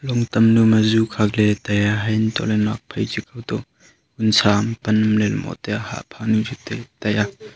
longtam nu ma ju khakley taiya haiantohley nokphai chito vunsa am pan am ley moh taiya hah phanu chu taiya.